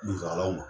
Dusukalaw